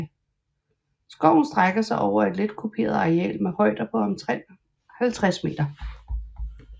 Skoven strækker sig over et let kuperet areal med højder på omtrent 50 m